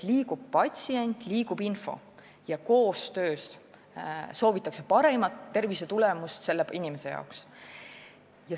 Liigub patsient ja liigub info ning koostöös soovitakse paremat tervisetulemust selle inimese jaoks.